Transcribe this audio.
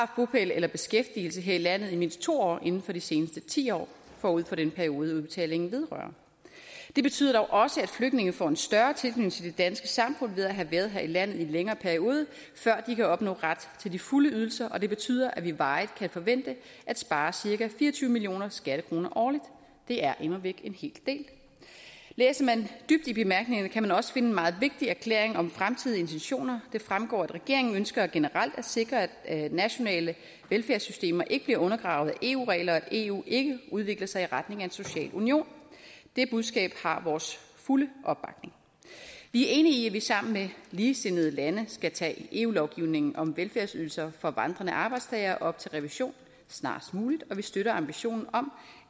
bopæl eller beskæftigelse her i landet i mindst to år inden for de seneste ti år forud for den periode udbetalingen vedrører det betyder dog også at flygtninge får en større tilknytning danske samfund ved at have været her i landet i en længere periode før de kan opnå ret til de fulde ydelser og det betyder at vi varigt kan forvente at spare cirka fire og tyve million skattekroner årligt det er immervæk en hel del læser man dybt i bemærkningerne kan man også finde en meget vigtig erklæring om fremtidige intentioner det fremgår at regeringen ønsker generelt at sikre at nationale velfærdssystemer ikke bliver undergravet af eu regler og at eu ikke udvikler sig i retning af en social union det budskab har vores fulde opbakning vi er enige i at vi sammen med ligesindede lande skal tage eu lovgivningen om velfærdsydelser for vandrende arbejdstagere op til revision snarest muligt og vi støtter ambitionen om